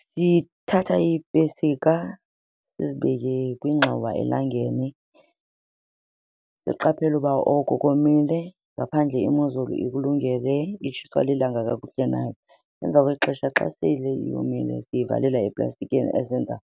Sithatha iipesika sizibeke kwingxowa elangeni, siqaphele uba oko komile ngaphandle imozolu ikulungele, itshiswa lilanga kakuhle na. Emva kwexesha xa sele yomile siyivalela eplastikini ezenza